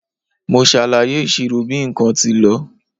Mo ṣàlàyé ìṣirò bí nǹkan tí lọ.